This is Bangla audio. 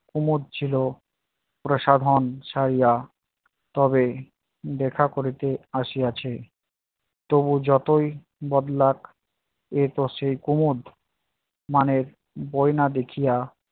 কুমদ ছিল প্রসাধন ছাড়িয়া তবে দেখা করিতে আসিয়াছে। তবু যতই বদলাক এ তো সেই কুমদ মানে গয়না দেখিয়া